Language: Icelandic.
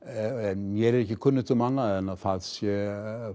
mér er ekki kunnugt um annað en að það sé